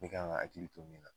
Bɛɛ kan ga akili to nin na